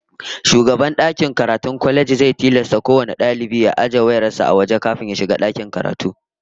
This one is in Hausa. Shugaban dakin karatun kwalejin zai tilasta kowane dalibi ya ajiye wayar sa a waje kafin ya shiga wajen karatu